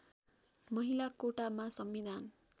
महिला कोटामा संविधान